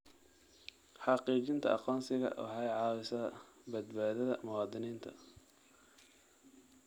Xaqiijinta aqoonsiga waxay caawisaa badbaadada muwaadiniinta.